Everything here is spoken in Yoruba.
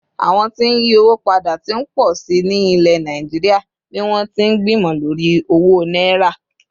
àwọn tí n yi owó pada t'in po sí ní ilẹ̀ Naijiria bi wọn ti n gbimọ lori owó náírà